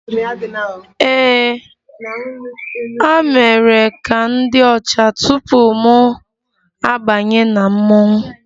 Ee, a mere ka m dị ọcha tupu mụ abanye na mmọnwụ